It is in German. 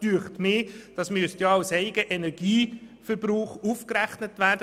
Auch das sollte als Eigenenergieverbrauch aufgerechnet werden.